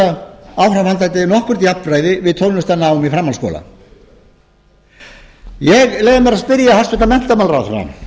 tryggja áframhaldandi nokkurt jafnræði við tónlistarnám í framhaldsskóla ég leyfi mér að spyrja hæstvirtan menntamálaráðherra